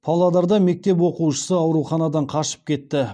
павлодарда мектеп оқушысы ауруханадан қашып кетті